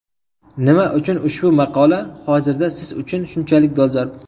Nima uchun ushbu maqola hozirda siz uchun shunchalik dolzarb?